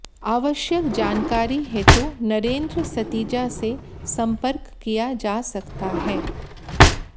आवश्यक जानकारी हेतु नरेंद्र सतीजा से संपर्क किया जा सकता है